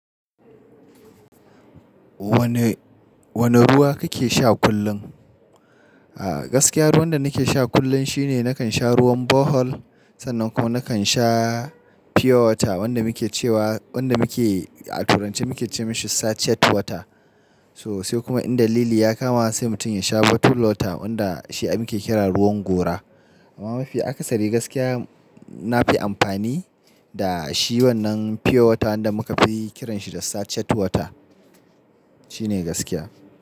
Wane, wane ruwa kake sha kullum? A gaskiya ruwan da nake sha kullum shine nakan sha ruwan Bohol, sannan kuma nakan sha pure water wanda muke cewa, wanda muke a turanci muke ce masa satchet water. So sai kuma in dalili ya kama sai mutum ya sha bottle water wanda shi ake kira ruwan gora. Amma mafi akasari gaskiya nafi amfani da shi wannan pure water wanda muka fi kiranshi da satchet water. Shi ne gaskiya.